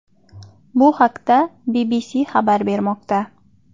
Bu haqda BBC xabar bermoqda .